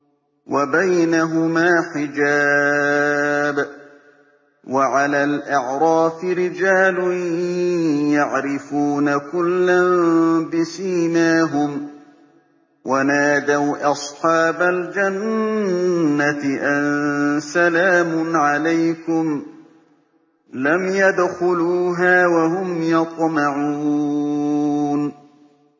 وَبَيْنَهُمَا حِجَابٌ ۚ وَعَلَى الْأَعْرَافِ رِجَالٌ يَعْرِفُونَ كُلًّا بِسِيمَاهُمْ ۚ وَنَادَوْا أَصْحَابَ الْجَنَّةِ أَن سَلَامٌ عَلَيْكُمْ ۚ لَمْ يَدْخُلُوهَا وَهُمْ يَطْمَعُونَ